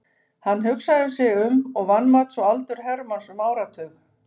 Hann hugsaði sig um og vanmat svo aldur Hermanns um áratug.